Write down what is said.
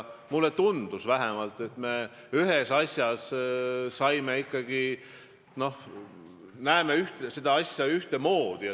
Mulle tundus vähemalt, et me ühes asjas näeme seda ühemoodi.